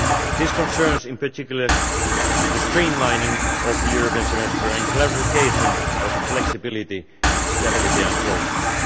This concerns, in particular, the streamlining of the European Semester and clarification of the flexibility in the Stability and Growth Pact.